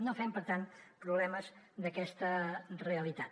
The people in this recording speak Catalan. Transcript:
no fem per tant problemes d’aquesta realitat